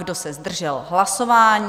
Kdo se zdržel hlasování?